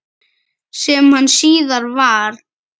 Sem hann síðar varð.